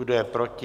Kdo je proti?